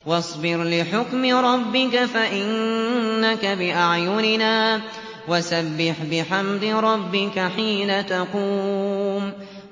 وَاصْبِرْ لِحُكْمِ رَبِّكَ فَإِنَّكَ بِأَعْيُنِنَا ۖ وَسَبِّحْ بِحَمْدِ رَبِّكَ حِينَ تَقُومُ